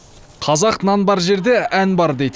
қазақ нан бар жерде ән бар дейді